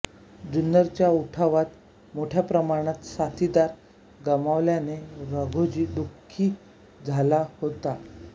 जुन्नरच्या उठावात मोठ्या प्रमाणात साथीदार गमावल्याने राघोजी दुखी झाला होता